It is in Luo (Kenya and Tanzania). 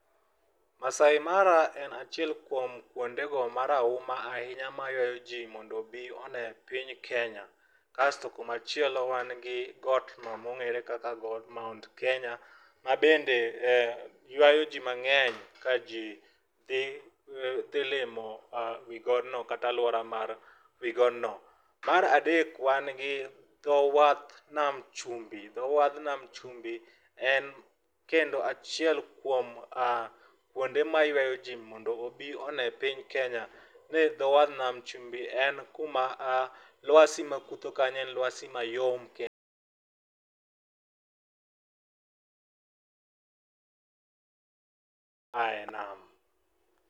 Maasai Mara en achiel kuom kuonde go marahuma ahinya mayuayo ji mondo obi one piny Kenya. Kasto kuma chielo wan gi got no mong'ere kaka got mount Kenya ma bende yuayo ji mang'eny kaji dhi dhi limo wi godno kata aluora mar wi godno. Mar adek wan gi dho wadh nam chumbi. Dho wadh namb chumbi en kendo achiel kuom kuonde ma ywayo ji mondo obi one piny Kenya. Ne dho wadh namb chumbi e kuma luasi ma kutho kanyo en luasi mayom [Pause) ae nam.